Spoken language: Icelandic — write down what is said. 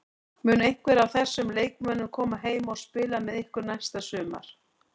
Mun einhver af þessum leikmönnum koma heim og spila með ykkur næsta sumar?